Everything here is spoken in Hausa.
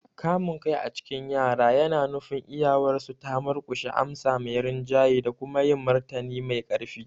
Kamun kai a cikin yara yana nufin iyawarsu ta murkushe amsa mai rinjaye da kuma yin martani mai ƙarfi.